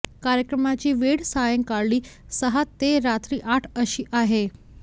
कार्यक्रमाची वेळ सायंकाळी सहा ते रात्री आठ अशी आहे